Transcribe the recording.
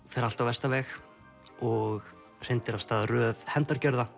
fer allt á versta veg og hrindir af stað röð